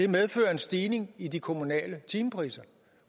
medfører en stigning i de kommunale timepriser